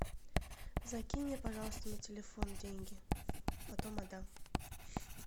закинь мне пожалуйста на телефон деньги потом отдам